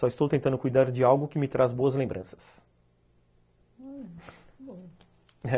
Só estou tentando cuidar de algo que me traz boas lembranças.